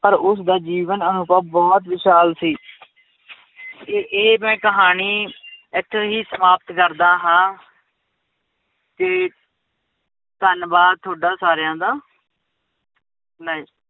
ਪਰ ਉਸਦਾ ਜੀਵਨ ਅਨੁਭਵ ਬਹੁਤ ਵਿਸ਼ਾਲ ਸੀ ਇਹ ਇਹ ਮੈਂ ਕਹਾਣੀ ਇੱਥੇ ਹੀ ਸਮਾਪਤ ਕਰਦਾ ਹਾਂ ਤੇ ਧੰਨਵਾਦ ਤੁਹਾਡਾ ਸਾਰਿਆਂ ਦਾ ਮੈਂ